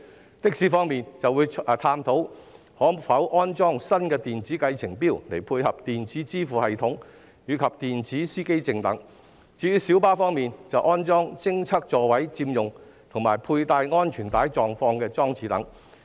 在的士方面，將會探討可否安裝新的電子計程錶，以配合電子支付系統及電子司機證等；至於小巴方面，則建議安裝偵測座位佔用及佩戴安全帶狀況的裝置等。